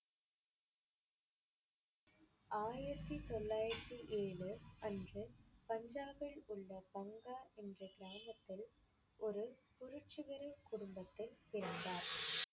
ஆயிரத்தி தொள்ளாயிரத்தி ஏழு அன்று பஞ்சாவில் உள்ள பங்கா என்ற கிராமத்தில் ஒரு புரட்சிகர குடும்பத்தில் பிறந்தார்